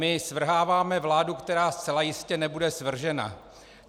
My svrháváme vládu, která zcela jistě nebude svržena.